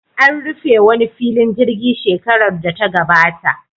An rufe wani filin jirgi shekarar data gabata.